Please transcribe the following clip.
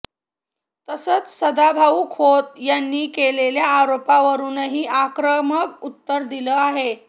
तसंच सदाभाऊ खोत यांनी केलेल्या आरोपावरूनही आक्रमक उत्तर दिलं आहे